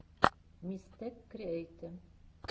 мистэкриэйтэ